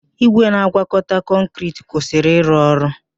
Igwe na-agwakọta kọnkịriti kwụsịrị ịrụ ọrụ.